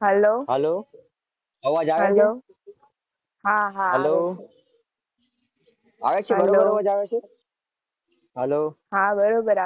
હાલો અવાજ આવે છે? હાલો આવે છે